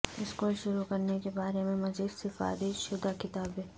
school شروع کرنے کے بارے میں مزید سفارش شدہ کتابیں